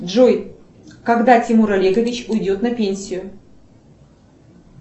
джой когда тимур олегович уйдет на пенсию